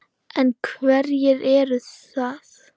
En hverjir eru það?